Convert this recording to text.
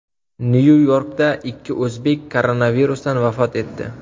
Nyu-Yorkda ikki o‘zbek koronavirusdan vafot etdi.